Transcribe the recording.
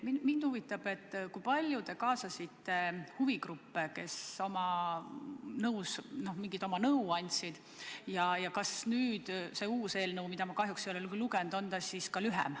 Mind huvitab, kui palju te kaasasite huvigruppe, kes mingit nõu andsid, ja kas see uus eelnõu, mida ma kahjuks ei ole küll lugenud, on siis ka lühem.